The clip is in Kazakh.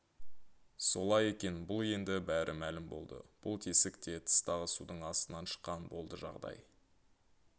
солай екен бұл енді бәрі мәлім болды бұл тесік те тыстағы судың астынан шыққан болды жағдай